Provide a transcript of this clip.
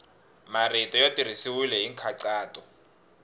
marito ya tirhisiwile hi nkhaqato